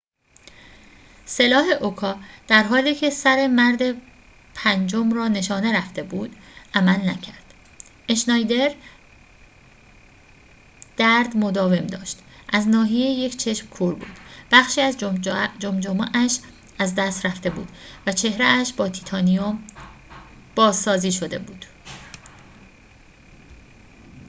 سلاح اوکا در حالی که سر مرد پنجم را نشانه رفته بود عمل نکرد اشنایدر درد مداوم داشت از ناحیه یک چشم کور بود بخشی از جمجمه اش از دست رفته بود و چهره اش با تیتانیوم بازسازی شده بود